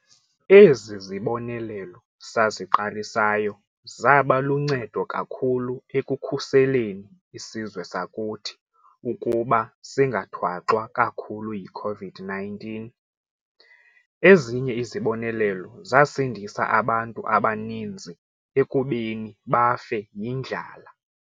Ezi zibonelelo saziqalisayo zaba luncedo kakhulu ekukhuseleni isizwe sakuthi ukuba singathwaxwa kakhulu yi-COVID-19. Ezinye izibonelelo zasindisa abantu abaninzi ekubeni bafe yindlala.